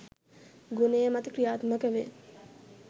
ගුණය මත ක්‍රියාත්මක වේ